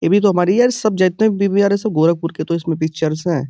ये भी तो हमारे यार सब जितने भी हैं गोरखपुर के तो इस में पिक्चर्स हैं।